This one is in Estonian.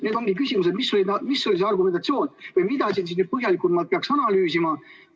Nüüd ongi küsimus, mis oli see argumentatsioon või mida siin peaks põhjalikumalt analüüsima.